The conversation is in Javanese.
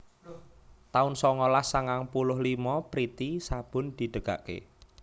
taun songolas sangang puluh limo Priti sabun didegake